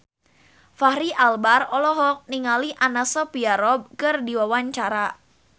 Fachri Albar olohok ningali Anna Sophia Robb keur diwawancara